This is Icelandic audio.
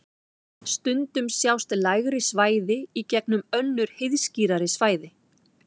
Stundum sjást lægri svæði í gegnum önnur heiðskírari svæði.